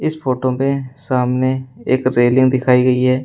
इस फोटो पे सामने एक रेलिंग दिखाई गई है।